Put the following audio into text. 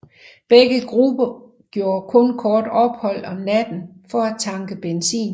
Begge gruppe gjorde kun kort ophold om natten for at tanke benzin